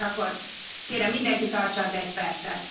És akkor kérem mindenki tartsa az egy percet!